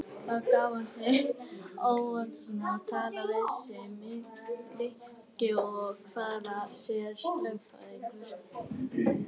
Þá gaf sig óforvarandis á tal við mig Grikki og kvaðst vera lögfræðingur.